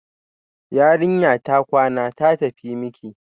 Yarinya ta kwana, ta tafi miki